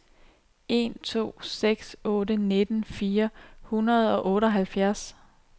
en to seks otte nitten fire hundrede og otteoghalvfjerds